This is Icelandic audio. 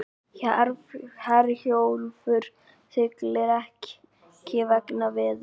Herjólfur siglir ekki vegna veðurs